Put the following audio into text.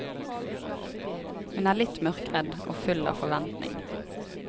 Hun er litt mørkredd og full av forventning.